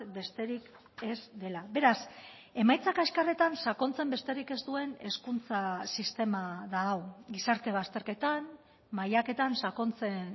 besterik ez dela beraz emaitza kaskarretan sakontzen besterik ez duen hezkuntza sistema da hau gizarte bazterketan mailaketan sakontzen